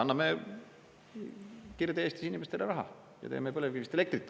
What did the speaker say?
Anname Kirde-Eesti inimestele raha ja teeme põlevkivist elektrit.